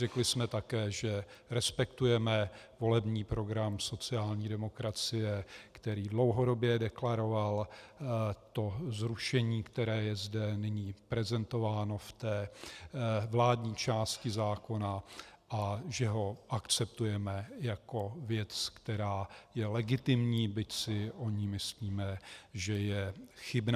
Řekli jsme také, že respektujeme volební program sociální demokracie, který dlouhodobě deklaroval toto zrušení, které je zde nyní prezentováno v té vládní části zákona, a že ho akceptujeme jako věc, která je legitimní, byť si o ní myslíme, že je chybná.